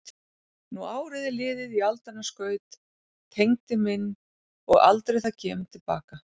Nú árið er liðið í aldanna skaut, Tengdi minn, og aldrei það kemur til baka.